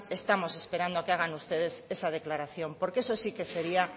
estamos esperando a que hagan ustedes esa declaración porque eso sí que sería